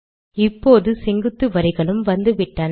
இப்போது செங்குத்து வரிகளும் வந்துவிட்டன